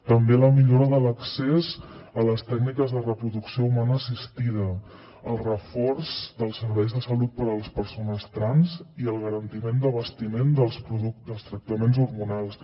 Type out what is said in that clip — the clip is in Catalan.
també la millora de l’accés a les tècniques de reproducció humana assistida el reforç dels serveis de salut per a les persones trans i el garantiment de l’abastiment dels tractaments hormonals